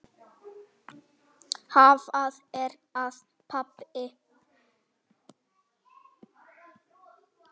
Hvað er að, pabbi?